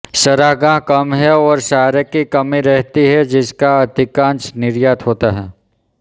चरागाह कम हैं और चारे की कमी रहती है जिसका अधिकांशत निर्यात होता है